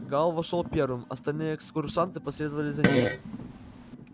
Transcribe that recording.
гаал вошёл первым остальные экскурсанты последовали за ним